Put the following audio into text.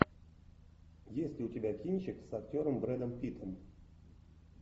есть ли у тебя кинчик с актером брэдом питтом